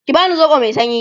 ki bani soɓo Mai sanyi!